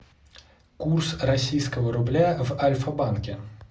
курс российского рубля в альфа банке